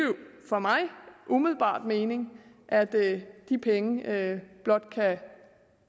for mig umiddelbart mening at de penge blot kan